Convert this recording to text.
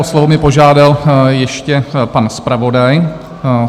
O slovo mě požádal ještě pan zpravodaj.